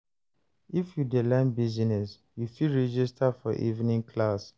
If you dey learn business, you fit register for evening class.